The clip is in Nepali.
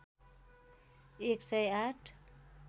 १ सय ८